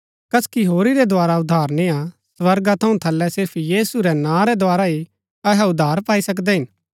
कसकी होरी रै द्धारा उद्धार निय्आ स्वर्गा थऊँ थलै सिर्फ यीशु रै नां रै द्धारा ही अहै उद्धार पाई सकदै हिन